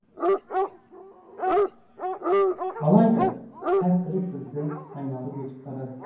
алайда сәттілік бізді айналып өте берді